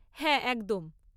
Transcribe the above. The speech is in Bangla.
হ্যাঁ একদম।